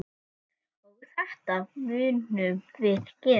Og þetta munum við gera.